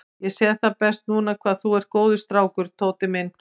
Ég sé það best núna hvað þú ert góður strákur, Tóti minn.